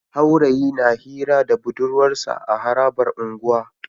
Haurayi na Hira da budurwarsa a harabar unguwa